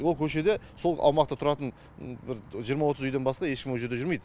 ол көшеде сол аумақта тұратын бір жиырма отыз үйден басқа ешкім ол жерде жүрмейді